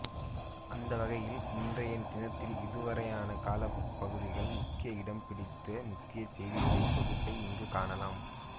அந்தவகையில் இன்றைய தினத்தில் இதுவரையான காலப்பகுதியில் முக்கிய இடம்பிடித்த முக்கிய செய்திகளின் தொகுப்பை இங்கு காணலாம்